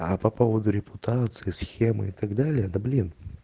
а по поводу репутации схемы и так далее да блин